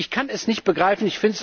Ich kann es nicht begreifen.